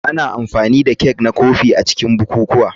Ana amfani da kek na kofi a cikin bukukuwa.